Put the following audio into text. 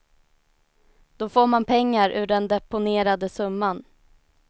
Då får man pengar ur den deponerade summan.